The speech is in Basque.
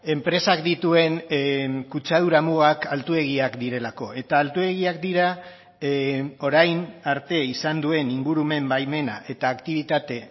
enpresak dituen kutsadura mugak altuegiak direlako eta altuegiak dira orain arte izan duen ingurumen baimena eta aktibitate